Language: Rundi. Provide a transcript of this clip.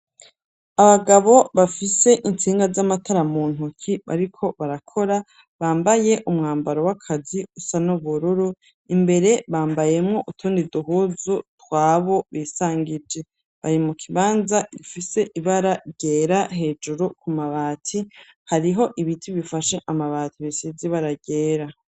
Abagabo bafise intsinga z'amatara mu ntoki ;bariko barakora bambaye umwambaro w'akazi usa n'ubururu; imbere bambayemwo utundi duhuzu twabo bisangije; bari mukibanza gifise ibara ryera hejuru ku mabati hariho ibiti bifashe amabati bisize ibara ryera.